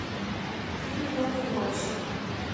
фильм рок н рольщик